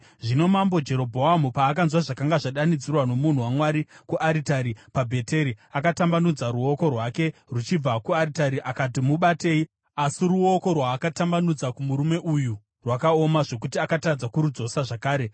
Zvino Mambo Jerobhoamu paakanzwa zvakanga zvadanidzirwa nomunhu waMwari kuaritari paBheteri, akatambanudza ruoko rwake ruchibva kuaritari akati, “Mubatei!” Asi ruoko rwaakatambanudzira kumurume uyu rwakaoma, zvokuti akatadza kurudzosa zvakare.